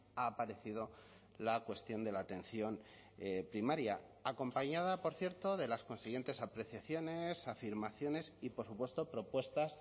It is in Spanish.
ha aparecido la cuestión de la atención primaria acompañada por cierto de las consiguientes apreciaciones afirmaciones y por supuesto propuestas